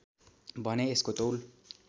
भने यसको तौल